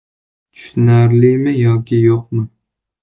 Tushunarlimi yoki yo‘qmi?